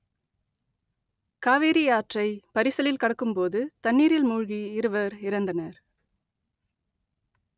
காவிரி ஆற்றை பரிசலில் கடக்கும்போது தண்ணீரில் மூழ்கி இருவர் இறந்தனர்